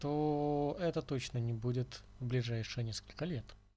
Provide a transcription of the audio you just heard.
то это точно не будет в ближайшие несколько лет